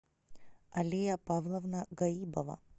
алия павловна гаибова